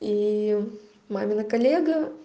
и мамина коллега